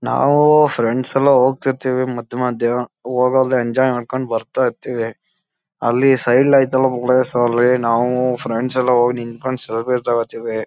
ನಾವು ಫ್ರೆಂಡ್ಸ್ ಎಲ್ಲ ಹೋಗ್ತಿರ್ತೀವಿ ಮದ್ ಮಧ್ಯೆ ಹೊಗಿ ಅಲ್ಲಿ ಎನ್ಜಾಯ್ ಮಾಡ್ಕೊಂದು ಬರ್ತಾ ಇರ್ತೀವಿ ಅಲ್ಲಿ ನಾವು ಫ್ರೆಂಡ್ಸ್ ಎಲ್ಲ ನಿಂತ್ಕೊಂಡು ತೊಗೊತೀವಿ.